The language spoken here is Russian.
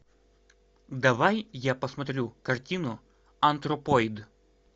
давай я посмотрю картину антропоид